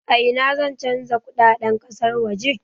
A ina zan canja kudaden kasar waje?